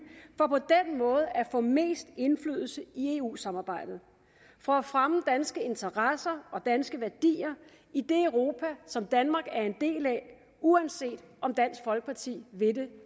for at få mest indflydelse i eu samarbejdet for at fremme danske interesser og danske værdier i det europa som danmark er en del af uanset om dansk folkeparti vil det